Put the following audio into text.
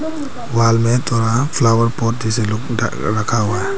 Wall में थोड़ा flower pot से रखा हुआ है।